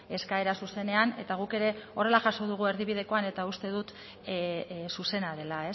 eskaera zuzenean eta guk ere horrela jaso dugu erdibidekoan eta uste dut zuzena dela